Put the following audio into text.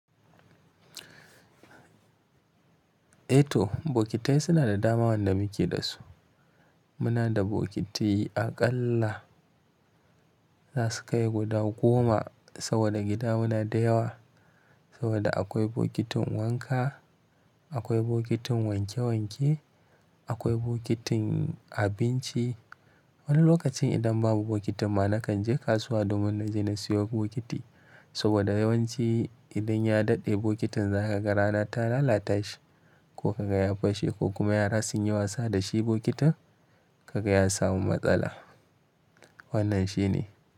Eh to bokitai suna da dama wanda muke da su. Muna da bokiti aƙalla, za su kai guda goma, saboda gida mu na da yawa. Saboda akwai bokitin wanka, akwai bokitin wanke wanke, akwai bokitin abinci. Wani lokacin idan babu bokitin ma, na kan je kasuwa domin na je na siyo bokiti. Saboda yawanci idan ya daɗe bokitin za ka ga rana ta lalata shi ko ka ga ya fashe ko kuma yara sun yi wasa da shi bokitin, ka ga ya samu matsala. Wannan shi ne.